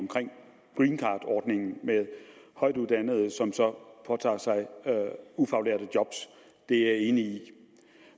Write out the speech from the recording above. omkring greencardordningen med højtuddannede som så påtager sig ufaglærte job det er jeg enig i